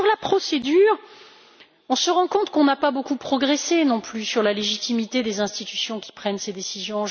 En ce qui concerne la procédure, on se rend compte qu'on n'a pas beaucoup progressé non plus sur la légitimité des institutions qui prennent ces décisions.